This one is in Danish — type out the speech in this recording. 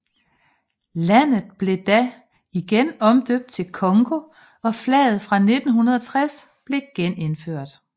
Landet blev da igen omdøbt til Congo og flaget fra 1960 blev genindført